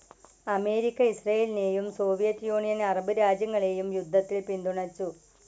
America ഇസ്രയേലിനെയും, Soviet Union Arab രാജ്യങ്ങളെയും യുദ്ധത്തിൽ പിന്തുണച്ചു.